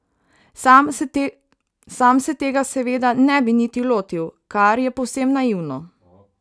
Sam se tega seveda ne bi niti lotil, ker je povsem naivno.